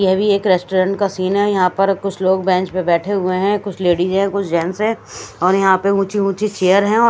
यह भी एक रेस्टोरेंट का सीन है यहां पर कुछ लोग बेंच पे बैठे हुए हैं कुछ लेडीज हैं कुछ जेंट्स हैं और यहां पे ऊंची-ऊंची चेयर हैं और --